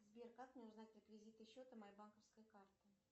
сбер как мне узнать реквизиты счета моей банковской карты